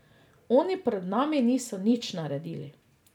Oni pred nami niso nič naredili.